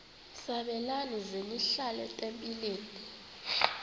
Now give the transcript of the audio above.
sabelani zenihlal etempileni